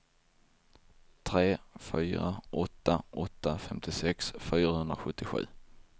tre fyra åtta åtta femtiosex fyrahundrasjuttiosju